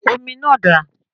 Omi náà dà?